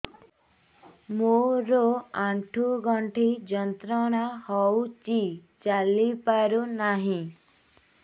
ମୋରୋ ଆଣ୍ଠୁଗଣ୍ଠି ଯନ୍ତ୍ରଣା ହଉଚି ଚାଲିପାରୁନାହିଁ